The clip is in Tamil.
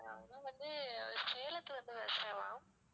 ஆஹ் அது வந்து சேலத்துல இருந்து பேசுறேன் ma'am